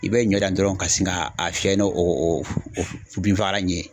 I bɛ ɲɔ dan dɔrɔnw ka sin k'a fiyɛ ni o binfagalan ni ye.